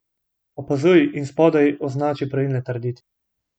Opazuj in spodaj označi pravilne trditve.